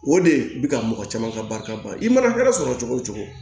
O de bi ka mɔgɔ caman ka barika ban i mana kɛ sɔrɔ cogo cogo